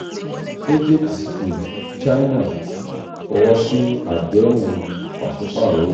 egypt china fọwọsi adehun um paṣipaarọ owo